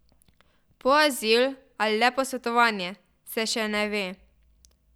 Po azil ali le posvetovanja, se še ne ve.